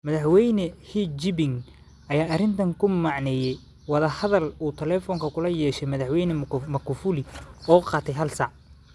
Madaxweyne Xi-Jiping ayaa arrintan ku macneeyay wada hadal uu taleefoon kula yeeshay Madaxweyne Magufuli oo qaatay hal saac.